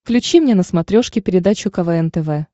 включи мне на смотрешке передачу квн тв